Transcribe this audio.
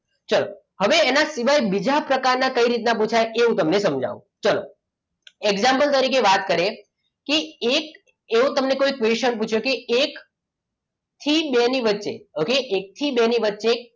ચાલો હવે એના સિવાય બીજા પ્રકારના કઈ રીતના પુછાય એ તમને હું સમજાવું ચલો example તરીકે વાત કરીએ કે એક એવો તમને question પૂછાય કે એક એક થી બેની વચ્ચે okay એક થી બે ની વચ્ચે